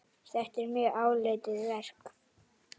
Þetta er mjög áleitið verk.